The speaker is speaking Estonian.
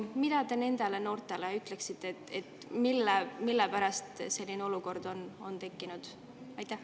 Mida te nendele noortele ütleksite, et mille pärast selline olukord on tekkinud?